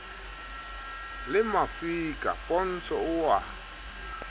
le mafika pontsho o a